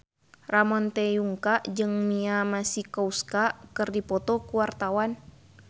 Ramon T. Yungka jeung Mia Masikowska keur dipoto ku wartawan